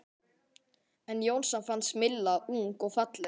En Jónsa fannst Milla ung og falleg.